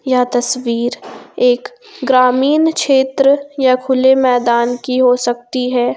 यह तस्वीर एक ग्रामीण क्षेत्र या खुले मैदान की हो सकती है।